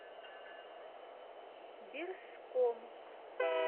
бирском